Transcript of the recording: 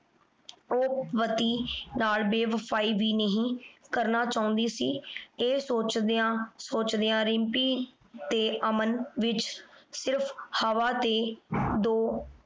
ਉਹ ਪਤੀ ਨਾਲ ਬੇਵਫਾਈ ਵੀ ਨਹੀਂ ਕਰਨਾ ਚਾਹੁੰਦੀ ਸੀ। ਇਹ ਸੋਚਦਿਆਂ ਸੋਚਦਿਆਂ ਰਿੰਪੀ ਤੇ ਅਮਨ ਵਿਚ ਸਿਰਫ ਹਵਾ ਤੇ ਦੋ